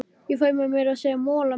Ég fæ meira að segja mola með.